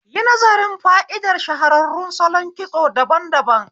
Yi nazarin fa'idar shahararrun salon kitso daban daban